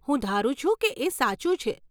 હું ધારું છું કે એ સાચું છે.